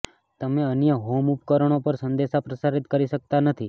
તમે અન્ય હોમ ઉપકરણો પર સંદેશા પ્રસારિત કરી શકતા નથી